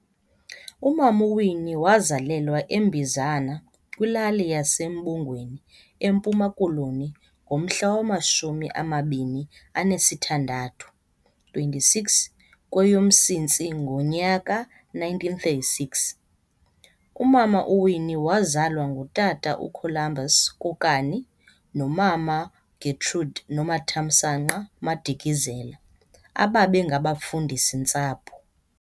uMam'uWinnie wazalelwa eMbizana, kwilali yesa Mbongweni eMpuma Koloni ngomhla wamashumi amabini anesi thandathu, 26, kweyoMsintsi ngonyaka 1936. Umama uWinnie wazalwa ngutata uColumbus Kokani nomama Getrude Nomathamsanqa Madikizela ababe ngabafundisi-ntsapho.